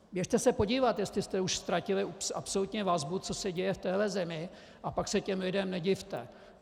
Běžte se podívat, jestli jste už ztratili absolutně vazbu, co se děje v téhle zemi, a pak se těm lidem nedivte.